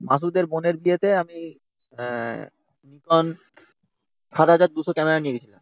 মাসুদের বোনের বিয়েতে আমি Nikon seven thousand two hundred camera নিয়ে গেছি